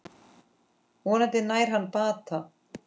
Vonandi nær hann bata.